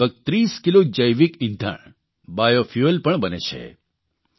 અને લગભગ 30 કિલો જૈવિક ઇંધણ બાયોફ્યુઅલ પણ બને છે